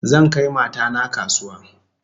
Zan kai mata na kasuwa